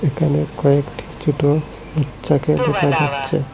এখানে কয়েকটি ছোট বাচ্চাকে দেখা যাচ্ছে।